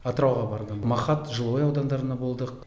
атырауға бардым махат жилой аудандарында болдық